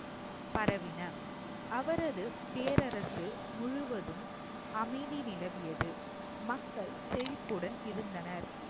பரவின அவரது பேரரசு முழுவதும் அமைதி நிலவியது மக்கள் செழிப்புடன் இருந்தனர்